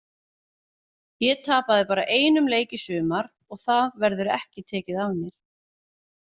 Ég tapaði bara einum leik í sumar og það verður ekki tekið af mér.